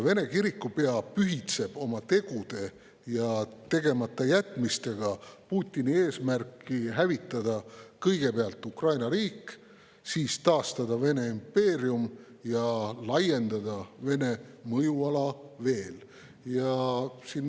Vene kirikupea pühitseb oma tegude ja tegematajätmistega Putini eesmärki hävitada kõigepealt Ukraina riik, siis taastada Vene impeerium ja laiendada Vene mõjuala veelgi.